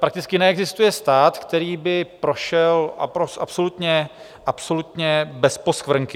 Prakticky neexistuje stát, který by prošel absolutně bez poskvrnky.